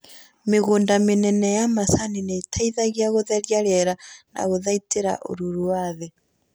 Mĩgũnda mĩnene ya macani nĩĩteithagia gũtheria rĩera na kuthaitĩra ũruru wa thĩ